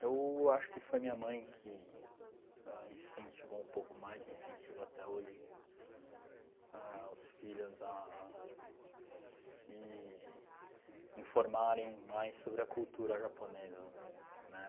Eu acho que foi minha mãe que ãh incentivou um pouco mais e incentiva até hoje ãh os filhos a se informarem mais sobre a cultura japonesa. Uhum. Né?